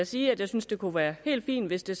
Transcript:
sige at jeg synes det kunne være helt fint hvis det